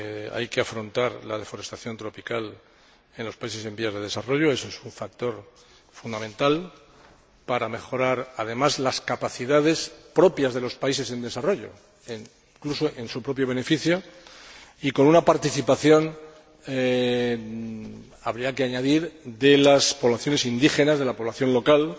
Hay que afrontar la deforestación tropical en los países en desarrollo, eso es un factor fundamental para mejorar, además, las capacidades propias en los países en desarrollo, incluso en su propio beneficio, y con una participación habría que añadir de las poblaciones indígenas, de la población local,